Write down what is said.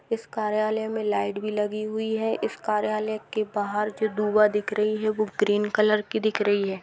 इस कार्यालय में लाइट भी लगी हुई है। इस कार्यालय के बाहर जो दुभा दिख रही है वो ग्रीन कलर की दिख रही है।